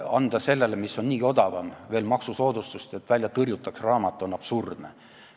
Anda sellele, mis on niigi odavam, veel maksusoodustust, et välja tõrjutaks raamat, on absurdne.